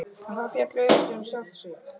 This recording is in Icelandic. En það féll auðvitað um sjálft sig.